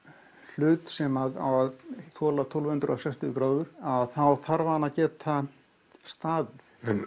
hlut sem á að þola tólf hundruð og sextíu gráður að þá þarf hann að geta staðið